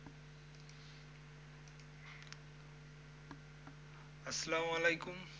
আস্সালামুয়ালাইকুম।